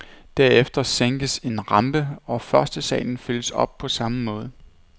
Derefter sænkes en rampe, og førstesalen fyldes op på samme måde.